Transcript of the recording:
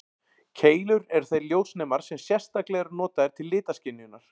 Keilur eru þeir ljósnemar sem sérstaklega eru notaðir til litaskynjunar.